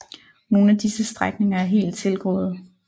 Nogle af disse strækninger er helt tilgroede